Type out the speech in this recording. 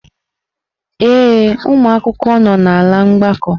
Ee, ụmụ akwụkwọ nọ n'ala mgbakọ.